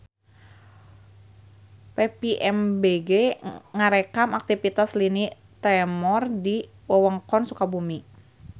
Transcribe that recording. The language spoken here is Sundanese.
PVMBG ngarekam aktivitas lini tremor di wewengkon Sukabumi